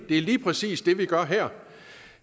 er lige præcis det vi gør her